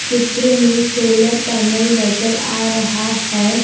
चित्र में solar panel नजर आ रहा है।